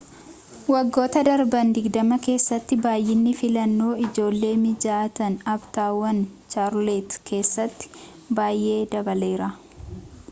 waggoota darban 20 keessatti baay'inni filannoo ijoolleef-mijatan aaptaawun chaarlotee keessatti baay'ee dabaleera